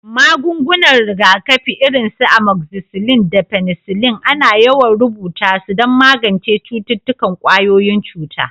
Magungunan rigakafi irin su amoxicillin da penicillin ana yawan rubuta su don magance cututtukan ƙwayoyin cuta.